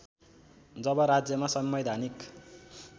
जब राज्‍यमा संवैधानिक